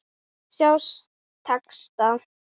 Sjá texta.